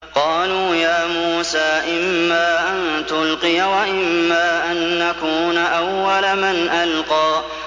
قَالُوا يَا مُوسَىٰ إِمَّا أَن تُلْقِيَ وَإِمَّا أَن نَّكُونَ أَوَّلَ مَنْ أَلْقَىٰ